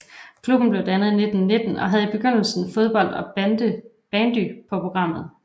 Klubben blev dannet i 1919 og havde i begyndelsen fodbold og bandy på programmet